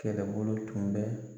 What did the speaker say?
Kɛlɛkɛbolo tun bɛ